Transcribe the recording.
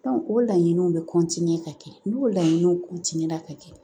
o laɲiniw bɛ ka kɛ n'u laɲiniw ka kɛ